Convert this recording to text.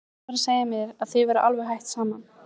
Gutti var að segja mér að þið væruð alveg hætt saman.